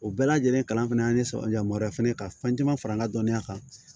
O bɛɛ lajɛlen kalan fana y'an sɔrɔ yamaruya fana ka fɛn caman fara n ka dɔnniya kan